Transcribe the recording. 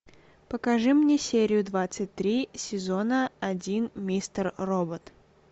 покажи мне серию двадцать три сезона один мистер робот